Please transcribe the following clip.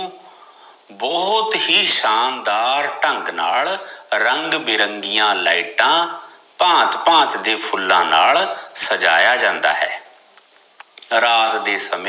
ਬਹੁਤ ਹੀ ਸ਼ਾਨਦਾਰ ਢੰਗ ਨਾਲ ਰੰਗ ਬਿਰੰਗੀਆ ਲਾਈਟਾ ਭਾਂਤ ਭਾਂਤ ਦੇ ਫੁਲਾਂ ਨਾਲ ਸਜਾਇਆ ਜਾਂਦਾ ਹੈ ਰਾਤ ਦੇ ਸਮੇਂ